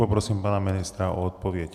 Poprosím pana ministra o odpověď.